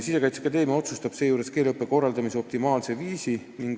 Sisekaitseakadeemia otsustab seejuures keeleõppe korraldamise optimaalse viisi.